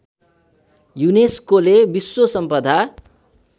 युनेस्कोले विश्व सम्पदा